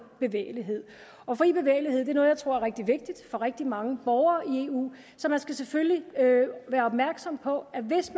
bevægelighed fri bevægelighed er noget jeg tror er rigtig vigtigt for rigtig mange borgere i eu så man skal selvfølgelig være opmærksom på at hvis